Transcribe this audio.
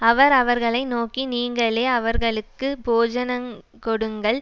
அவர் அவர்களை நோக்கி நீங்களே அவர்களுக்கு போஜனங்கொடுங்கள்